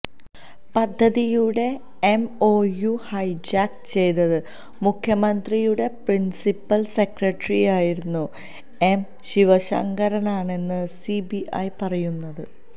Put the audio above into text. പദ്ധതിയുടെ M O U hijack ചെയ്തത് മുഖ്യമന്ത്രിയുടെ പ്രിൻസിപ്പൽ സെക്രട്ടറിയായിരുന്ന എം ശിവശങ്കറാണെന്നാണ് സിബിഐ പറയുന്നത്